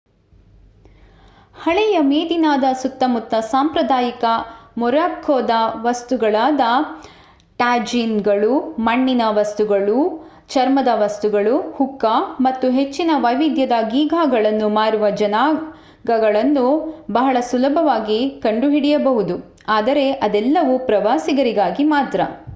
ಹಳೆಯ ಮೆದೀನಾದ ಸುತ್ತಮುತ್ತ ಸಾಂಪ್ರದಾಯಿಕ ಮೊರ್ರಾಕ್ಕೊದ ವಸ್ತುಗಳಾದ ಟ್ಯಾಜೀನ್‌ಗಳು ಮಣ್ಣಿನ ವಸ್ತುಗಳು ಚರ್ಮದ ವಸ್ತುಗಳು ಹುಕ್ಕಾ ಮತ್ತು ಹೆಚ್ಚಿನ ವೈವಿಧ್ಯದ ಗೀಗಾಗಳನ್ನು ಮಾರುವ ಜಾಗಗಳನ್ನು ಬಹಳ ಸುಲಭವಾಗಿ ಕಂಡುಹಿಡಿಯಬಹುದು ಆದರೆ ಅದೆಲ್ಲವೂ ಪ್ರವಾಸಿಗರಿಗಾಗಿ ಮಾತ್ರ